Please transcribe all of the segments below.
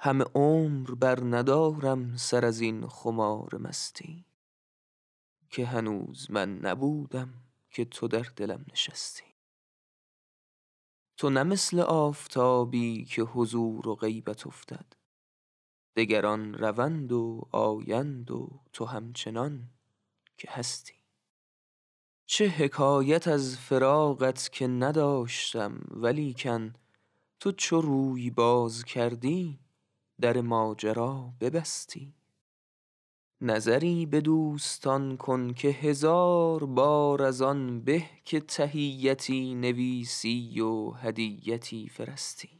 همه عمر برندارم سر از این خمار مستی که هنوز من نبودم که تو در دلم نشستی تو نه مثل آفتابی که حضور و غیبت افتد دگران روند و آیند و تو همچنان که هستی چه حکایت از فراقت که نداشتم ولیکن تو چو روی باز کردی در ماجرا ببستی نظری به دوستان کن که هزار بار از آن به که تحیتی نویسی و هدیتی فرستی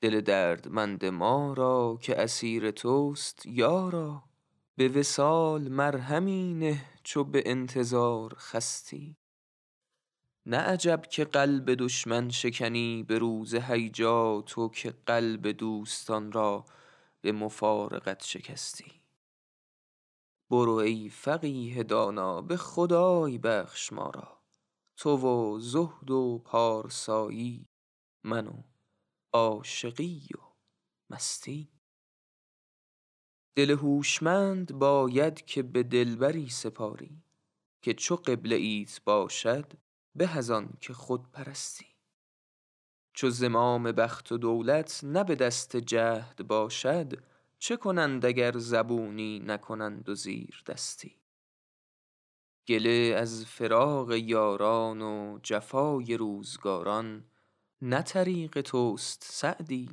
دل دردمند ما را که اسیر توست یارا به وصال مرهمی نه چو به انتظار خستی نه عجب که قلب دشمن شکنی به روز هیجا تو که قلب دوستان را به مفارقت شکستی برو ای فقیه دانا به خدای بخش ما را تو و زهد و پارسایی من و عاشقی و مستی دل هوشمند باید که به دلبری سپاری که چو قبله ایت باشد به از آن که خود پرستی چو زمام بخت و دولت نه به دست جهد باشد چه کنند اگر زبونی نکنند و زیردستی گله از فراق یاران و جفای روزگاران نه طریق توست سعدی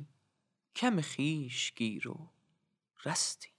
کم خویش گیر و رستی